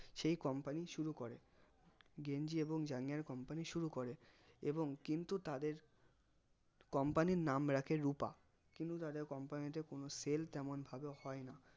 সেই company শুরু করে গেঞ্জি এবং জাঙ্গিয়ার company শুরু করে এবং কিন্তু তাদের company র নাম রাখে রুপা কিন্তু তাদের company তে কোনো sell তেমন ভাবে হয় না